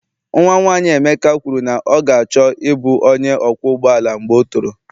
Nwa nwanyị Emeka kwuru na ọ ga-achọ ịbụ onye ọkwọ ụgbọ ala mgbe ọ toro.